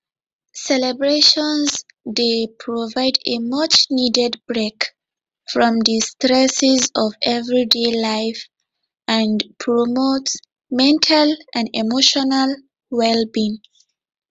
celebrations dey provide a muchneeded break from di stresses of everyday life and promote mental and emotional wellbeing